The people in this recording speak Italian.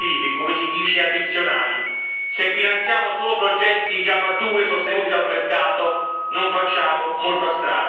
Se finanziamo solo progetti già maturi e sostenuti dal mercato non facciamo molta strada, non facciamo passi in avanti.